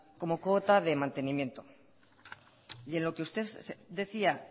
como cuota de mantenimiento y en lo que usted decía